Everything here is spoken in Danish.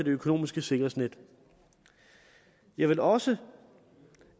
økonomiske sikkerhedsnet jeg vil også